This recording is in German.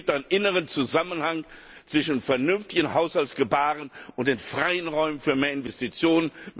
Es gibt einen inneren Zusammenhang zwischen vernünftigem Haushaltsgebahren und den freien Räumen für mehr Investitionen.